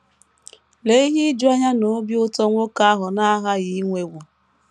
Lee ihe ijuanya na obi ụtọ nwoke ahụ na - aghaghị inwewo!